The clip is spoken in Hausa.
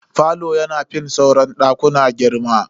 Falo yana fin sauran dakuna girma.